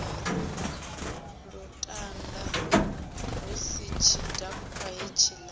lutanda hu si tshidakwa hetshiḽa